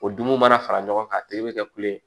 O dun mana fara ɲɔgɔn kan a tigi bɛ kɛ kule